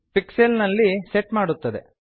pixels ನಲ್ಲಿ set ಮಾಡುತ್ತದೆ